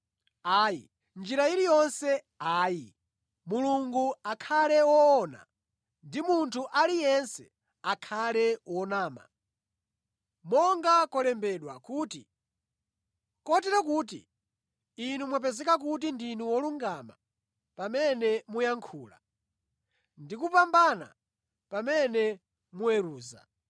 Ayi. Mʼnjira iliyonse ayi! Mulungu akhale woona, ndi munthu aliyense akhale wonama. Monga kwalembedwa kuti, “Kotero kuti inu mwapezeka kuti ndinu wolungama pamene muyankhula ndi kupambana pamene muweruza.”